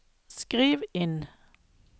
skriv inn